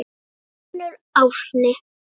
Þinn sonur Árni.